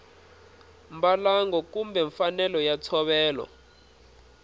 mbalango kumbe mfanelo ya ntshovelo